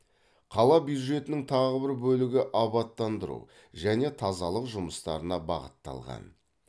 қала бюджетінің тағы бір бөлігі абаттандыру және тазалық жұмыстарына бағытталған